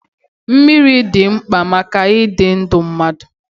Mmiri dị mkpa maka ịdị ndụ mmadụ.